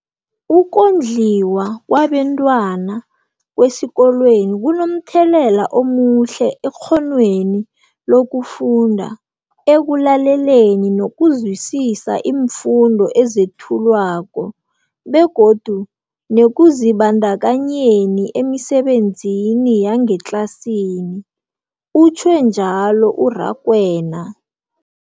Ukondliwa kwabentwana kwesikolweni kunomthelela omuhle ekghonweni lokufunda, ekulaleleni nokuzwisiswa iimfundo ezethulwako begodu nekuzibandakanyeni emisebenzini yangetlasini, utjhwe njalo u-Rakwena.